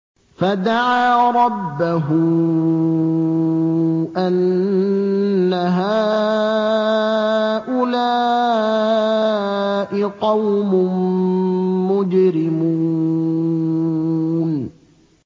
فَدَعَا رَبَّهُ أَنَّ هَٰؤُلَاءِ قَوْمٌ مُّجْرِمُونَ